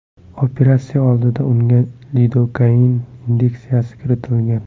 Operatsiya oldidan unga lidokain inyeksiyasi kiritilgan.